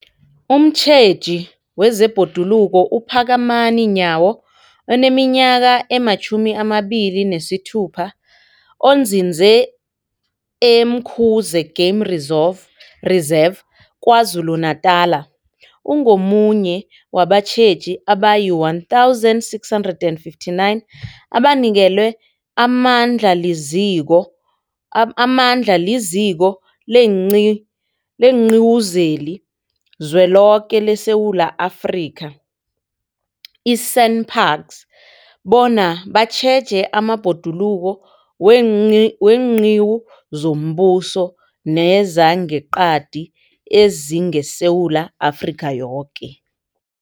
Umtjheji wezeBhoduluko uPhakamani Nyawo oneminyaka ema-26, onzinze e-Umkhuze Game Reserve Reserve KwaZulu-Natala, ungomunye wabatjheji abayi-1 659 abanikelwe amandla liZiko, amandla liZiko leenQi, leenQiwu zeliZweloke leSewula Afrika, i-SANParks, bona batjheje amabhoduluko weenqiwu zombuso nezangeqadi ezingeSewula Afrika yoke.